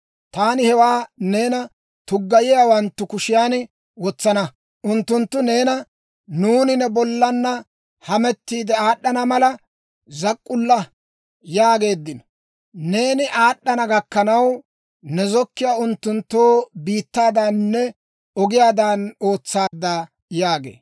Taani hewaa neena tuggayiyaawanttu kushiyan wotsana. Unttunttu neena, ‹Nuuni ne bollaanna hamettiide aad'd'ana mala, zak'k'ulla› yaageeddino. Neeni aad'd'ana gakkanaw, ne zokkiyaa unttunttoo biittaadaaninne ogiyaadan ootsaadda» yaagee.